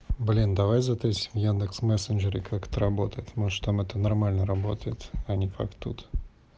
блин давай за тридцать в яндекс мессенджере как отработать может там это нормально работает они пойдут